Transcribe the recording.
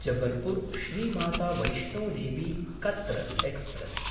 जबलपुर्–श्री Mata Vaishno Devi Katra express